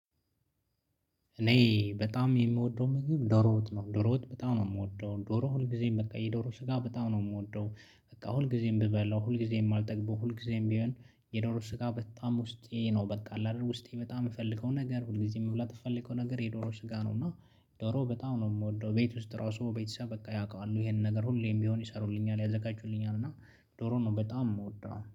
እኔ በጣም የምወደው ምግብ ዶሮ ነው ዶሮ በጣም ነው የምወደው ዶሮ ሁልጊዜም በቃ የዶሮ ስጋ በጣም ነው የምወደው። በቃ ሁልጊዜም ብበላው ሁልጊዜም አልጠግበው ሁልጊዜም ቢሆን የዶሮ ስጋ በጣም ውስጤ ነው በቃ ላድርግ ውስጤ በጣም የምፈልገው ነገር ሁል ጊዜ የምብላት የምፈልገው ነገር የዶሮ ስጋ ነው። እና ዶሮ በጣም ነው የምወደው ቤት ውስጥ ራሱ ቤተሰብ በቃ ያውቃሉ ይሄንን ነገር ሁሌም ቢሆን ይሰሩልኛል ያዘጋጁልኛል። እና ዶሮ ነው በጣም የምወደው